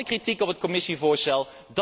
We hadden kritiek op het commissievoorstel.